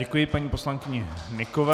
Děkuji paní poslankyni Hnykové.